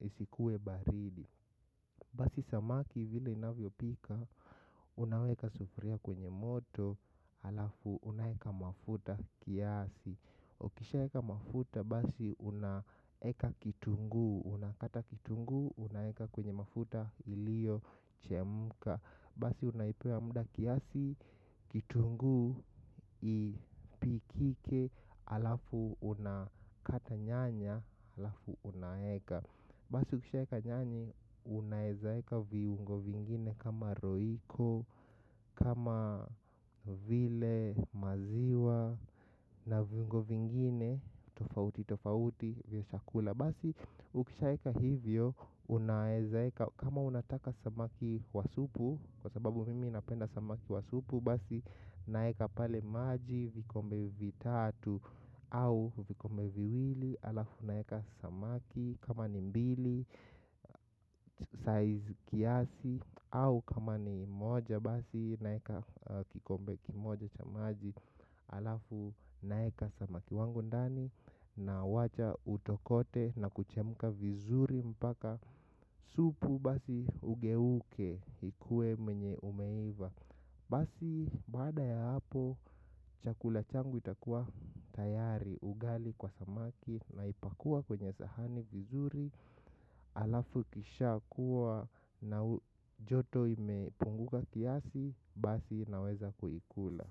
isikuwe baridi basi samaki vile inavyopika unaweka sufuria kwenye moto halafu unaweka mafuta kiasi. Ukishaeka mafuta basi unaeka kitunguu. Unakata kitunguu unaeka kwenye mafuta ilio chemka. Basi unaipea muda kiasi kitunguu ipikike halafu unakata nyanya halafu unaeka basi ukishaeka nyanya hivi unaezaeka viungo vingine kama roiko. Kama vile maziwa na viungo vingine tofauti tofauti vya chakula. Basi ukishaeka hivyo unaweza eka kama unataka samaki wa supu. Kwa sababu mimi napenda samaki wa supu. Basi naeka pale maji vikombe vitatu au vikombe viwili halafu naeka samaki. Kama ni mbili size kiasi. Au kama ni moja basi naeka kikombe kimoja cha maji halafu naweka samaki wangu ndani nawacha utokote na kuchemka vizuri mpaka supu basi ugeuke ikue mwenye umeiva. Basi baada ya hapo chakula changu itakuwa tayari. Ugali kwa samaki naipakua kwenye sahani vizuri halafu ikisha kuwa na joto imepunguka kiasi basi naweza kuikula.